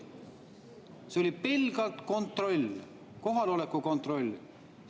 See oli pelgalt kontroll, kohaloleku kontroll.